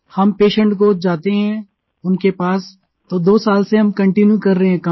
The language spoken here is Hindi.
हम पेशेंट को जाते हैं उनके पास तो दो साल से हम कंटीन्यू कर रहे हैं ये काम